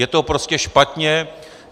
Je to prostě špatně.